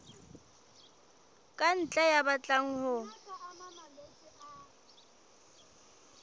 ka ntle ya batlang ho